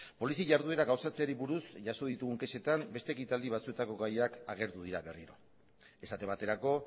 polizia jarduera gauzatzeari buruz jaso ditugun kexetan beste ekitaldi batzuetako gaiak agertu dira berriro esate baterako